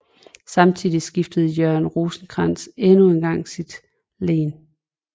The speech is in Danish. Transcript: Samtidig skiftede Jørgen Rosenkrantz endnu engang sit len